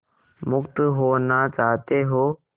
मुक्त होना चाहते हो